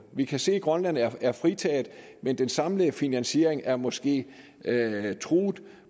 vi kan se at grønland er er fritaget men den samlede finansiering er måske truet